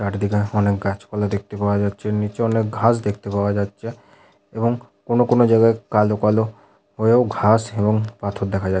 চারিদিকে অনেক গাছপালা দেখতে পাওয়া যাচ্ছে নিচে অনেক ঘাস দেখতে পাওয়া যাচ্ছে এবং কোনো কোনো জায়গায় কালো কালো হয়েও ঘাস এবং পাথর দেখা যা --